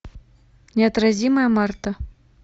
неотразимая марта